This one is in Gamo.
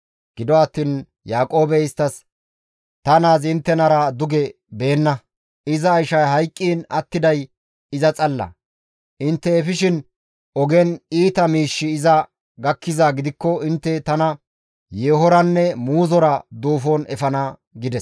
Gido attiin Yaaqoobey isttas, «Ta naazi inttenara duge beenna; iza ishay hayqqiin attiday iza xalla; intte efishin ogen iita miishshi iza gakkizaa gidikko intte tana yeehoranne muuzora duufon efana» gides.